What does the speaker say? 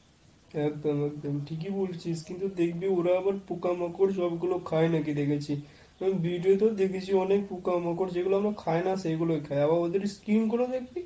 একদম একদম ঠিকই বলেছিস। কিন্তু দেখবি ওরা আবার পোকামাকড় সবগুলো খায় নাকি দেখেছি। video তে দেখেছি অনেক পোকামাকড় যেগুলো আমরা খাই না সেগুলোই খায়। আবার ওদের skin গুলো দেখবি,